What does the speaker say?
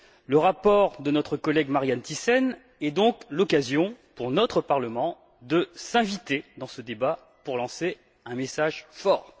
Le rapport de notre collègue Marianne Thyssen est donc l'occasion, pour notre Parlement, de s'inviter dans ce débat pour lancer un message fort.